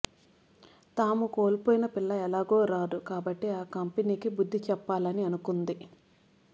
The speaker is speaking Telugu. తాము కోల్పోయిన పిల్ల ఎలాగో రాదు కాబట్టి ఆ కంపెనీ కి బుద్ధి చెప్పాలని అనుకుంది